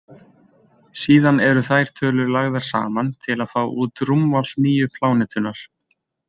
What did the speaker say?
Síðan eru þær tölur lagðar saman til að fá út rúmmál nýju plánetunnar.